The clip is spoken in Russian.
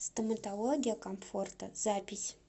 стоматология комфорта запись